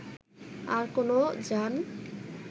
আর কোন যান